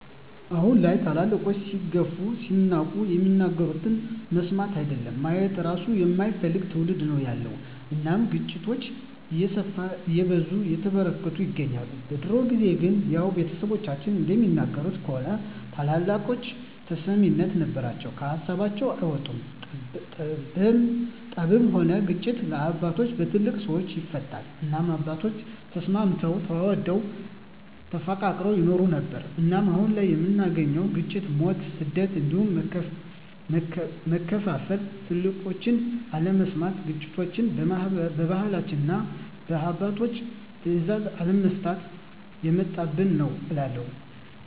አሁን ላይ ትልልቆች ሲገፉ ሲናቁ የሚናገሩትን መስማት አይደለም ማየት እራሱ የማይፈልግ ትዉልድ ነዉ ያለዉ እናም ግጭቶች እየሰፉ እየበዙ እየተበራከቱ ይገኛል። በድሮ ጊዜ ግን ያዉ ቤተሰቦቻችን እንደሚነግሩን ከሆነ ትልልቆች ተሰሚነት ነበራቸዉ ከሀሳባቸዉ አይወጡም ጠብም ሆነ ግጭት በአባቶች(በትልልቅ ሰወች) ይፈታል እናም አባቶቻችን ተስማምተዉ ተዋደዉ ተፋቅረዉ ይኖሩ ነበር። እናም አሁን ላይ የምናየዉ ግጭ፣ ሞት፣ ስደት እንዲሁም መከፋፋል ትልቆችን አለመስማት ግጭቶችችን በባህላችንና እና በአባቶች ትእዛዝ አለመፍታት የመጣብን ነዉ እላለሁ።